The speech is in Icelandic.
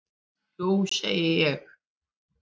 Jú segi ég.